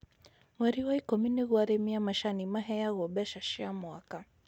Mweri wa ikũmi nĩguo arĩmi a macani maheyawo mbeca cia mwaka.